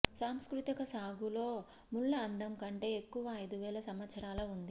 సాంస్కృతిక సాగు లో ముళ్ల అందం కంటే ఎక్కువ ఐదు వేల సంవత్సరాల ఉంది